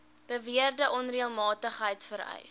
beweerde onreëlmatigheid vereis